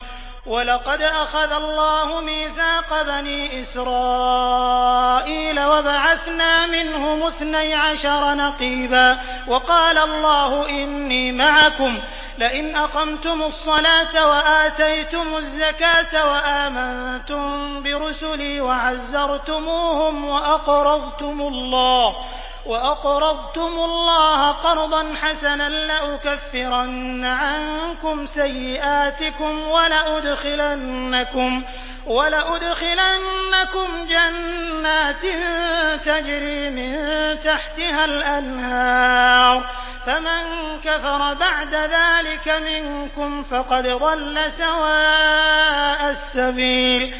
۞ وَلَقَدْ أَخَذَ اللَّهُ مِيثَاقَ بَنِي إِسْرَائِيلَ وَبَعَثْنَا مِنْهُمُ اثْنَيْ عَشَرَ نَقِيبًا ۖ وَقَالَ اللَّهُ إِنِّي مَعَكُمْ ۖ لَئِنْ أَقَمْتُمُ الصَّلَاةَ وَآتَيْتُمُ الزَّكَاةَ وَآمَنتُم بِرُسُلِي وَعَزَّرْتُمُوهُمْ وَأَقْرَضْتُمُ اللَّهَ قَرْضًا حَسَنًا لَّأُكَفِّرَنَّ عَنكُمْ سَيِّئَاتِكُمْ وَلَأُدْخِلَنَّكُمْ جَنَّاتٍ تَجْرِي مِن تَحْتِهَا الْأَنْهَارُ ۚ فَمَن كَفَرَ بَعْدَ ذَٰلِكَ مِنكُمْ فَقَدْ ضَلَّ سَوَاءَ السَّبِيلِ